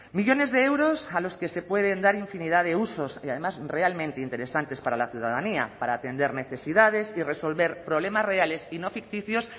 millones de euros a los que se pueden dar infinidad de usos y además realmente interesantes para la ciudadanía para atender necesidades y resolver problemas reales y no ficticios